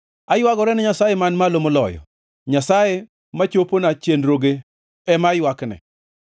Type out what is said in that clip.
Aywagora ne Nyasaye Man Malo Moloyo, Nyasaye machopona chenroge ema aywakne.